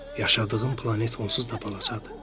Yaşadığım planet onsuz da balacadır.